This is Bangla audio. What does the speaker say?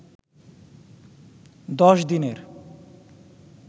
১০ দিনের